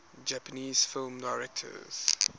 japanese film directors